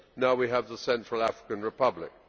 now we have the Central African Republic.